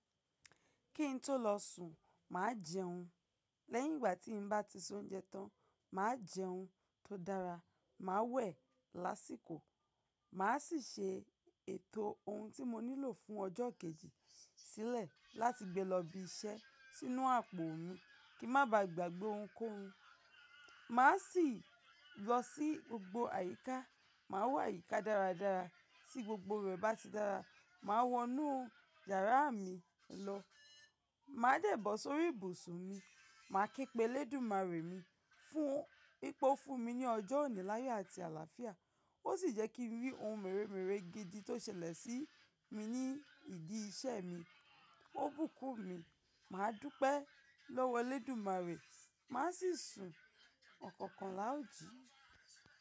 Kí ń tó lọ sùn, màá jẹun. Lẹ́yìn ìgbà tí n bá ti se ounjẹ tán, màá jẹun tó dára, màá wẹ̀ lásìkò, màá sì ṣe ètò ohun tí mo nílò fún ọjọ́ kejì sílẹ̀ láti gbe lọ ibi iṣẹ́ sínú àpò mi kí n má baà gbàgbẹ́ ohun kó ohun. Màá sì lọ sí gbogbo àyíká, màá wo àyíká dáradára, tí gbogbo rẹ̀ bá ti dára, màá wọnú yàrá mi lọ, màá dẹ̀ bọ́ sórí ibùsùn mi, màá kí pelé eludúmarè mi fún wipe o fún mi ní ọjọ́ òní láyo àti àlàáfíà, ó sì jẹ́ kí n rí ohun mèremère gidi tó ṣẹlẹ̀ sí mi ní ìdí iṣẹ́ mi, ó bùkún mi, màá dúpẹ́ lọ́wọ́ elédùmarè, màá sì sùn ọ̀kọ̀ọ̀kan láòjì.